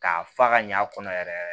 K'a fa ka ɲa a kɔnɔ yɛrɛ yɛrɛ